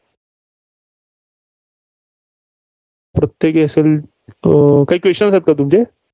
प्रत्येक काही questions आहेत का तुमचे?